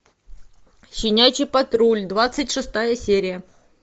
щенячий патруль двадцать шестая серия